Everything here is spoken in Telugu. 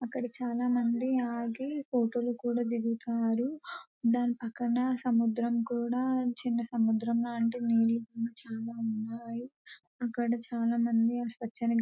అక్కడ చాలా మంది ఆగి ఫోటో లు కూడా దిగుతారు. దాని పక్కన సముద్రం కూడా చిన్న సముద్రంలాంటిది. నీళ్లు కూడా చాలా ఉన్నాయి. అక్కడ చాలా మంది ఆ స్వచ్ఛని--